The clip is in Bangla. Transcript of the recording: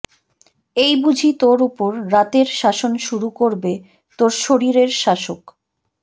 এই বুঝি তোর উপর রাতের শাসন শুরু করবে তোর শরীরের শাসক